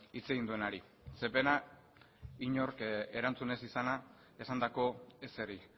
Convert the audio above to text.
hitz egin duenari ze pena inork erantzun ez izana esandako ezeri